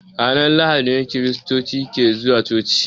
Ranar lahadi ne kiristoci ke zuwa coci.